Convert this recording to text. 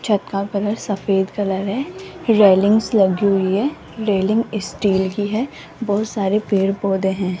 छत का कलर सफेद कलर है रैलिंग्स लगी हुई है रेलिंग स्टील की है बहुत सारे पेड़ पौधे हैं।